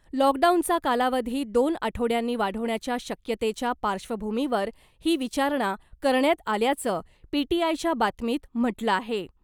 लॉकडाऊनचा कालावधी दोन आठवड्यांनी वाढवण्याच्या शक्यतेच्या पार्श्वभूमीवर ही विचारणा करण्यात आल्याचं , पीटीआयच्या बातमीत म्हटलं आहे .